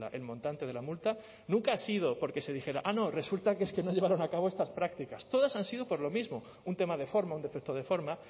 el montante de la multa nunca ha sido porque se dijera ah no resulta que es que no llevaron a cabo estas prácticas todas han sido por lo mismo un tema de forma un defecto de forma